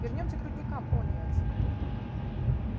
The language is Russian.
вернёмся к рудникам пониетс